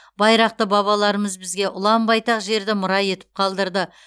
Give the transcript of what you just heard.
байрақты бабаларымыз бізге ұлан байтақ жерді мұра етіп қалдырды